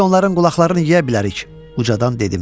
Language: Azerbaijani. Biz onların qulaqlarını yeyə bilərik, ucadan dedim.